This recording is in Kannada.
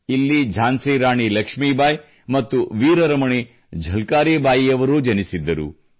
ಇಲ್ಲಿ ಝಾನ್ಸಿ ರಾಣಿ ಲಕ್ಷ್ಮೀಬಾಯಿ ಮತ್ತು ವೀರರಮಣಿ ಝಲ್ಕಾರಿಬಾಯಿಯವರೂ ಜನಿಸಿದ್ದರು